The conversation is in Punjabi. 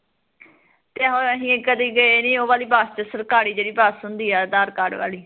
ਤੇ ਹੁਣ ਅਸੀਂ ਕਦੀ ਗਏ ਨੀ ਉਹ ਵਾਲੀ ਬਸ ਚ ਸਰਕਾਰੀ ਜਿਹੜੀ ਬਸ ਹੁੰਦੀ ਐ ਅਧਾਰ ਕਾਡ ਵਾਲੀ